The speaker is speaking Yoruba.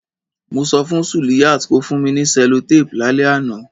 Mo so fun Suliyat ko fun mi ni cellotape lálẹ́ ánàn